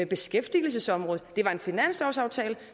beskæftigelsesområdet det var en finanslovsaftale